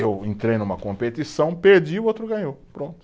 Eu entrei numa competição, perdi, o outro ganhou, pronto.